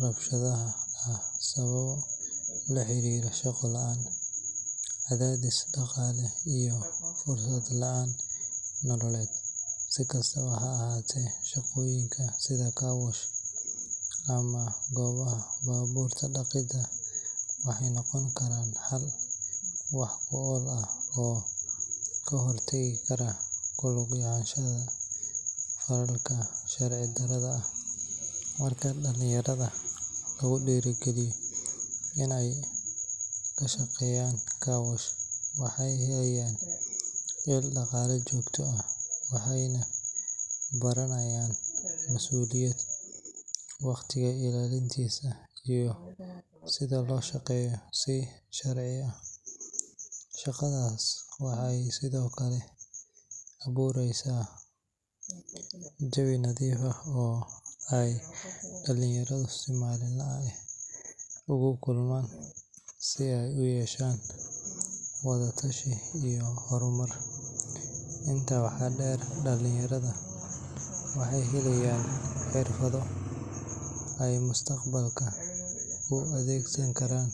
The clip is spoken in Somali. rabshadaha ah sababo la xiriira shaqo la’aan, cadaadis dhaqaale iyo fursad la’aan nololeed. Si kastaba ha ahaatee, shaqooyinka sida carwash ama goobaha baabuur dhaqidda waxay noqon karaan xal wax ku ool ah oo ka hor tagi kara ku lug yeelashada falalkaas sharci darrada ah. Marka dhalinyarada lagu dhiirrigeliyo in ay ka shaqeeyaan carwash, waxay helayaan il dakhli joogto ah, waxayna baranayaan mas’uuliyad, waqtiga ilaalintiisa, iyo sida loo shaqeeyo si sharci ah. Shaqadaas waxay sidoo kale abuureysaa jawi nadiif ah oo ay dhalinyaradu si maalinle ah ugu kulmaan si ay u yeeshaan wada-tashi iyo horumar. Intaa waxaa dheer, dhalinyarada waxay helayaan xirfado ay mustaqbalka u adeegsan karaan.